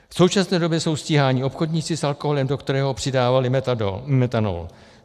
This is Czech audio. V současné době jsou stíháni obchodníci s alkoholem, do kterého přidávali metanol.